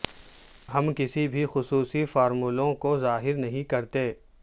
ہم کسی بھی خصوصی فارمولوں کو ظاہر نہیں کرتے